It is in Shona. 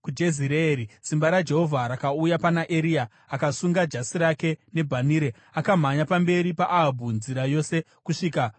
Simba raJehovha rakauya pana Eria, akasunga jasi rake nebhanhire, akamhanya pamberi paAhabhu nzira yose kusvika kuJezireeri.